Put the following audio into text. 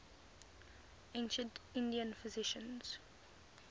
ancient indian physicians